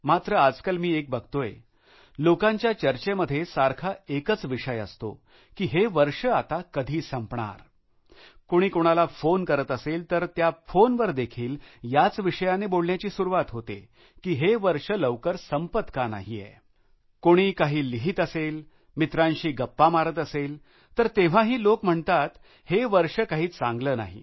मात्र आजकाल मी एक बघतोय लोकांच्या चर्चेमध्ये सारखा एकच विषय असतोकी हे वर्ष आता कधी संपणार कोणी कोणाला फोन करत असेल तर त्या फोनवर देखील याच विषयाने बोलण्याची सुरुवात होते की हे वर्ष लवकर संपत का नाहीये कोणी काही लिहित असेल मित्रांशी गप्पा मारत असेल तर तेव्हाही लोक म्हणतात हे वर्ष काही चांगलं नाही